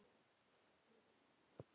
Þá var svarið jafnan: Ég?!